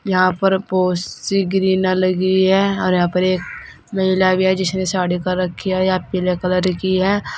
यहां पर बहुत सी ग्रीना लगी है और यहां पर एक महिला भी है जिसने साड़ी पहन रखी है यह पीले कलर की है।